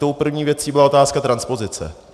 Tou první věcí byla otázka transpozice.